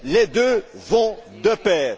Les deux vont de pair!